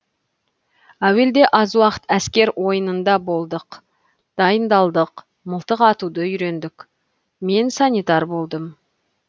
әуелде аз уақыт әскер ойынында болдық дайындалдық мылтық атуды үйрендік мен санитар болдым